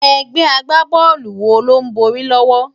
Égbè ágbábòlú wó ló n bòri lòwò?